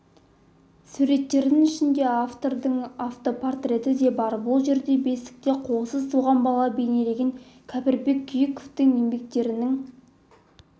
суреттердің ішінде автордың автопортреті де бар бұл жерде бесікте қолсыз туған бала бейнеленген кәріпбек күйіковтің еңбектерінің